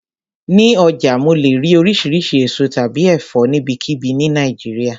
Ní ọjà mo lè rí oríṣiríṣi èso tàbí ẹ̀fọ́ níbikíbi ni Nàìjíríà.